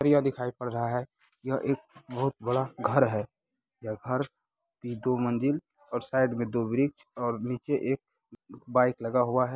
बढ़िया दिखाई पड़ रहा है यह एक बहुत बड़ा घर है यह घर दो मंजिल और साइड में दो ब्रिज और नीचे एक बाइक लगा हुआ है।